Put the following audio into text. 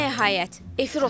Və nəhayət.